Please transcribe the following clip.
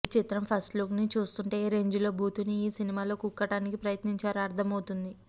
ఈ చిత్రం first look ని చూస్తూంటే ఏ రేంజిలో బూతుని ఈ సినిమాలో కుక్కటానికి ప్రయత్నించారో అర్దమవుతోంది